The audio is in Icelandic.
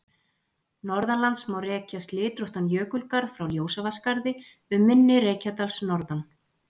Norðanlands má rekja slitróttan jökulgarð frá Ljósavatnsskarði, um mynni Reykjadals, norðan